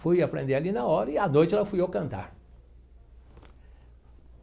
Fui aprender ali na hora e à noite lá fui eu cantar.